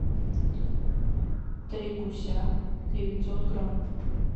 три гуся девятьсот грамм